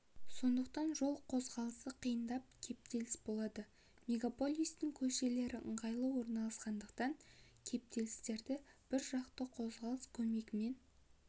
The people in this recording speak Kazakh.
сондықтан жол қозғалысы қиындап кептеліс болады мегаполистің көшелері ыңғайлы орналасқандықтан кептелістерді бір жақты қозғалыс көмегімен